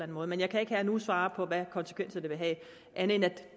måde men jeg kan ikke her og nu svare på hvilke konsekvenser det vil have andet end at